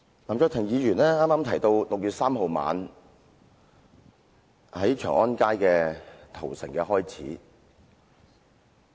林卓廷議員剛才提到6月3日晚上，北京長安街的屠城開始了。